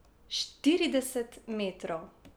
Štirideset metrov.